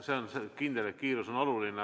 See on kindel, et kiirus on oluline.